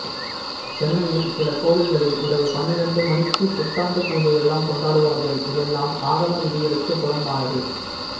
சென்னையில் சில கோவில்களில் இரவு பன்னிரெண்டுமணிக்கு புத்தாண்டு பூஜையெல்லாம் கொண்டாடுவார்கள் இதெல்லாம் ஆகம விதிகளுக்கு புறம்பானது